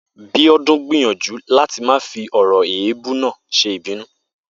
Bíó̩dún gbìyànjú láti má fi ò̩rò̩ èébú náà s̩e ìbínú